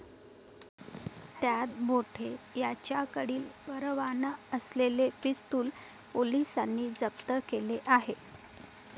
त्यात बोठे याच्याकडील परवाना असलेले पिस्तूल पोलिसांनी जप्त केले आहे.